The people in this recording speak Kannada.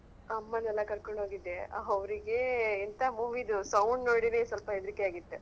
ಅಮ್ಮನೆಲ್ಲಾ ಕರ್ಕೊಂಡು ಹೋಗಿದ್ದೆ ಅವ್ರಿಗೆ ಎಂತ movie ಅದ್ದು sound ನೋಡಿನೆ ಸ್ವಲ್ಪಾ ಹೆದ್ರಿಕೆ ಆಗಿತ್ತು.